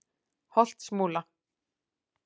Holtsmúla